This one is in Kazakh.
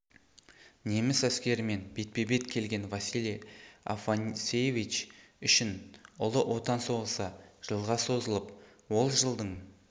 неміс әскерімен бетпе-бет келген василий афанасьевич үшін ұлы отан соғысы жылға созылып ол жылдың